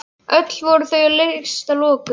Öll voru þau leyst að lokum.